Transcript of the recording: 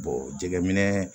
jɛgɛminɛ